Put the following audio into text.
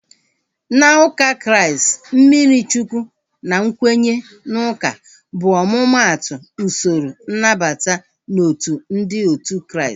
Na ụka Kraịst, mmiri Chukwu na nkwenye n'uka bụ omumatu usoro nnabata n'otu ndị otu Kraịst